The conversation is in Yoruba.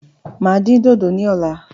Máa dín dodo ní ọ̀la